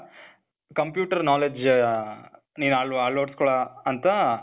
computer knowledge ಆ, ನೀನ್ ಅಳ ಅಳವಡಿಸ್ಕೊಳೋ ಅಂತ